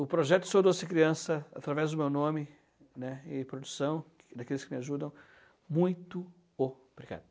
O projeto Sou Doce Criança, através do meu nome, né, e produção, daqueles que me ajudam, muito obrigado.